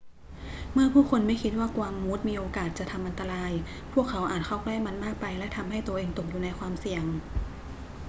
เมื่อผู้คนไม่คิดว่ากวางมูสมีโอกาสที่จะทำอันตราย พวกเขาอาจเข้าใกล้มันมากไปและทำให้ตัวเองตกอยู่ในความเสี่ยง